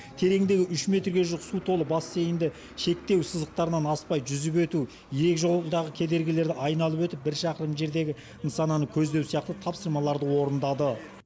тереңдігі үш метрге жуық су толы бассейнді шектеу сызықтарынан аспай жүзіп өту ирекжолдағы кедергілерді айналып өтіп бір шақырым жердегі нысананы көздеу сияқты тапсырмаларды орындады